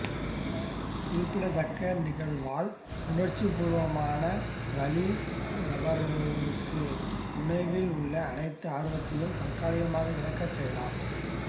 குறிப்பிடத்தக்க நிகழ்வால் உணர்ச்சிப்பூர்வமான வலி நபரொருவருக்கு உணவில் உள்ள அனைத்து ஆர்வத்தையும் தற்காலிகமாக இழக்கச் செய்யலாம்